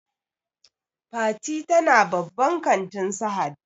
Fati ta na babban kantin Sahad